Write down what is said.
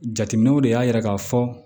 Jateminɛw de y'a yira k'a fɔ